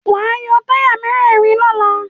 Wàá yọ táyà mẹ́rẹ̀rin lọ́la.